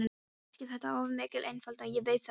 Kannski er þetta of mikil einföldun, ég veit það ekki.